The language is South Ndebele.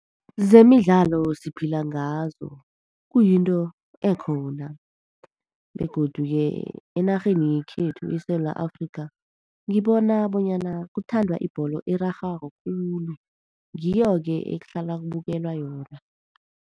Zemidlalo siphila ngazo, kuyinto ekhona. Begodu-ke enarheni yekhethu eSewula Afrika ngibona bonyana kuthandwa ibholo erarhwako khulu, ngiyoke ekuhlalwa kubukelwa yona.